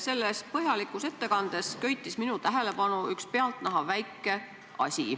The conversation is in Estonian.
Selles põhjalikus ettekandes köitis minu tähelepanu üks pealtnäha väike asi.